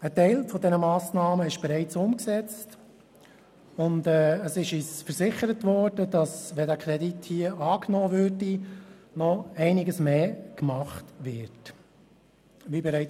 Ein Teil dieser Massnahmen ist bereits umgesetzt, und uns wurde versichert, dass noch einiges mehr gemacht werde, sollte dieser Kredit angenommen werden.